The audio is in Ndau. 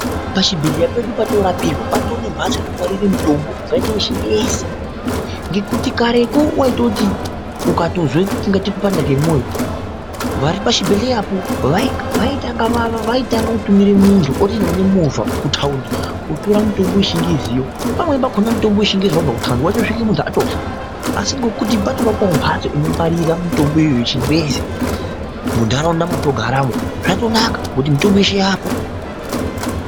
Pachibhedhleya pedu patorapirwa patone mhatso inongwarire mutombo ungaite vechingezi. Ngekuti kareko vaitoti ukatozwe kungaite kupanda kwemwoyo vari pachibhedhleyapo vaitanga kutumira muntu otoenda nemovha kutaundi kotora mitombo yechingeziyo. Pamweni pakona mutombo vechingezi vabva kutaundi vaitosvika muntu atofa. Asi ngekuti patovakwavo mhatso inongwarira mitomboyo yechingezi muntaraunda mwatogaramwo zvatonaka ngekuti mitombo yeshe yaapo.